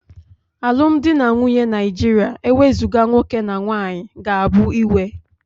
Alụmdi na nwunye Naijiria ewezuga nwoke na nwanyị ga-abụ iwe